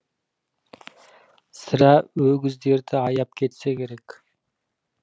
сірә өгіздерді аяп кетсе керек